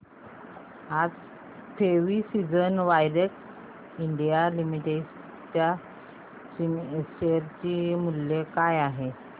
आज precision wires India limited च्या share चे मूल्य काय आहे